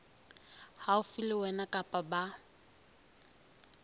haufi le wena kapa ba